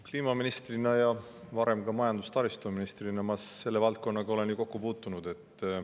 Kliimaministrina ja varem ka majandus- ja taristuministrina ma selle valdkonnaga olen kokku puutunud.